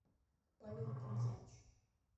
павел концевич